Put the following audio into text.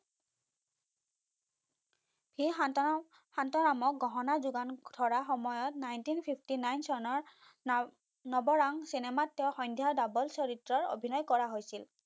সেই সান্তৰাম সান্তৰামক গহনা যোগান ধৰা সময়ত nineteen fifty nine চনৰ নাৱ নৱৰাঙ চিনেমাত তেওঁ সন্ধ্যা ডাবল চৰিত্ৰৰ অভিনয় কৰা হৈছিল।